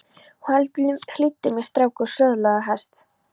Hlýddu mér strákur og söðlaðu hest!